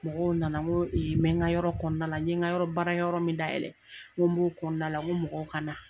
Mɔgɔw na na n ko n bɛ n ka yɔrɔ kɔnɔna na la n ye n ka yɔrɔ barakɛ yɔrɔ min dayɛlɛ n ko n b'o kɔnɔna la n ko mɔgɔw ka na.